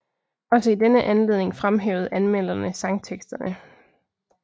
Også i denne anledning fremhævede anmelderne sangteksterne